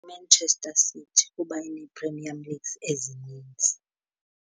Manchester City kuba ineePremier Leagues ezinintsi.